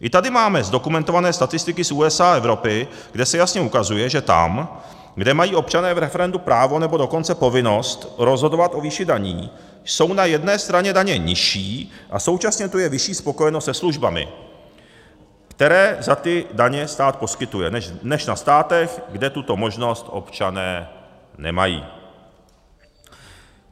I tady máme zdokumentované statistiky z USA a Evropy, kde se jasně ukazuje, že tam, kde mají občané v referendu právo, nebo dokonce povinnost rozhodovat o výši daní, jsou na jedné straně daně nižší a současně tu je vyšší spokojenost se službami, které za ty daně stát poskytuje, než ve státech, kde tuto možnost občané nemají.